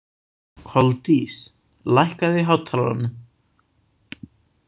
Koldís, lækkaðu í hátalaranum.